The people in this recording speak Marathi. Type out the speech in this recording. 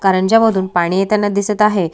कारंज्या मधून पाणी येताना दिसत आहे.